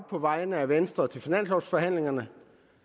på vegne af venstre til finanslovforhandlingerne